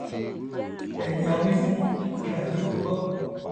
ẹni a wí fún ọba jẹ ó gbọ